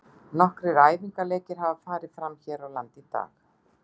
Nokkrir æfingaleikir hafa farið fram hér á landi í dag.